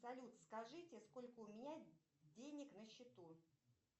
салют скажите сколько у меня денег на счету